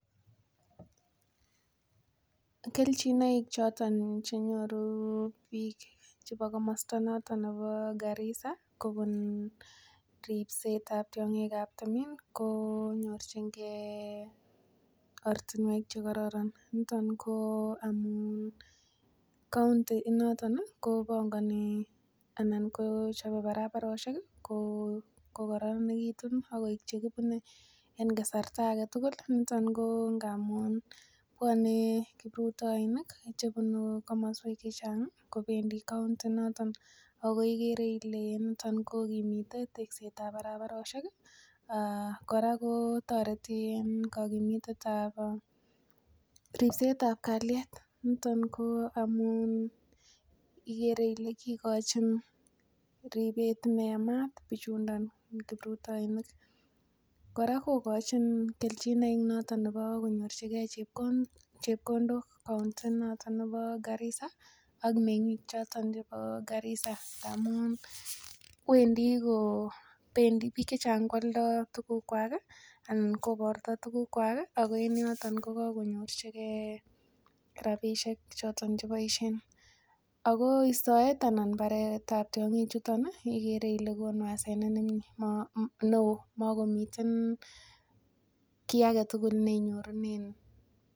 Kelchinoik choton che nyoru biik chebo komosta noton nebo Garissa kobun ripsetab tiong'ik choto chebo timin ko nyorjinge ortinwek che kororon. Niton ko amun county inoto kobangani anan ko chobe barabarosiek kokaranegitu ak koik che kibune en kasarta age tugul. Niton ko amun bwone kiprutoinik che bunu komoswek che chang kobendi county inoton ago igere ile niton kogimite tekset ab barabarosiek. Kora kotoreti en kogimitet ab ripsetab kalyet niton ko amun igere ile kigochin ripet ne yamat bichuniton kiprutoinik. Kora kogochin kelchenoik noton nebo konyorjige chepkondok county noton nebo Garissa ak meng'ik choton chebo Garissa ndamun biik che chang koalda tugukwak alak koborto tugukwak ago en yoton ko kagonyorjige rabishek choton che boisien. Ago istoet anan baret ab tiong'ik chuton igere ile konu hasenet neo magomiten kiy age tugul ne inyorunen.